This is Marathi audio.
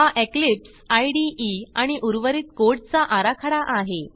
हा इक्लिप्स इदे आणि उर्वरित कोड चा आराखडा आहे